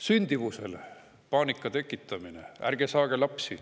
Sündimuse teemal tekitatakse paanikat, et ärge saage lapsi.